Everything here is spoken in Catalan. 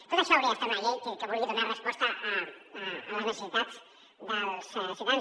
tot això hauria d’estar en una llei que vulgui donar resposta a les necessitats dels ciutadans